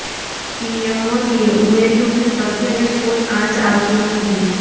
PM મોદીએ ઉમેર્યુ કે સત્યને કોઈ આંચ આવતી નથી